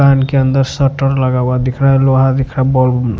कान के अंदर शटर लगा हुआ दिख रहा है लोहा दिख रहा है बॉल --